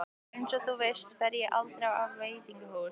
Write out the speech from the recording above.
Einsog þú veist fer ég aldrei á veitingahús.